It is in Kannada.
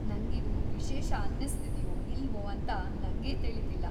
ನಂಗಿದು ವಿಶೇಷ ಅನ್ನಿಸ್ತಿದ್ಯೋ ಇಲ್ವೋ ಅಂತ ನಂಗೆ ತಿಳೀತಿಲ್ಲ.